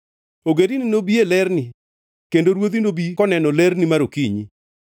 Ogendini nobi, e lerni, kendo ruodhi nobi koneno lerni mar okinyi.